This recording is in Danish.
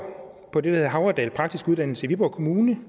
på det hedder havredal praktiske uddannelser i viborg kommune